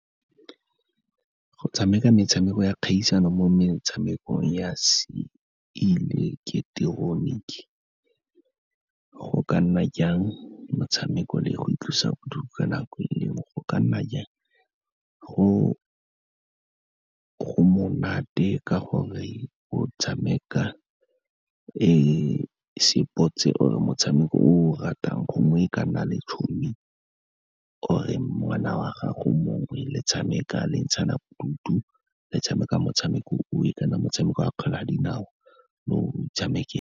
Go tshameka metshameko ya kgaisano mo metshamekong ya seileketeroniki go ka nna jang motshameko le go itlosabodutu ka nako e le nngwe, go ka nna jang, go monate ka gore o tshameka sepotse or-e motshameko o o ratang, gongwe e ka nna le tšhomi or-e ngwana wa gago mongwe, le tshameka le ntshana bodutu, le tshameka motshameko o o kana motshameko wa kgwele ya dinao, le o .